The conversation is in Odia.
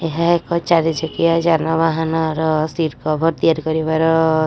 ଏହା ଏକ ଚାରି ଚକିଆ ଯାନବାହାନ ସିଟ୍ କଭର୍ ତିଆରି କରିବାର ସ୍ଥାନ।